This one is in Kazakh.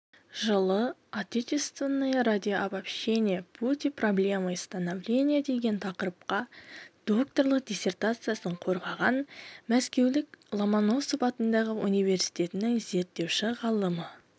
жылы отечественное радиовещание пути проблемы становления деген тақырыпта докторлық диссертациясын қорғаған мәскеудің ломоносов атындағы университетінің зерттеуші-ғалымы